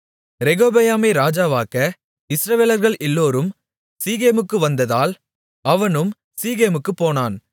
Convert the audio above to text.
ரெகொபெயாமை ராஜாவாக்க இஸ்ரவேலர்கள் எல்லோரும் சீகேமுக்கு வந்ததால் அவனும் சீகேமுக்குப் போனான்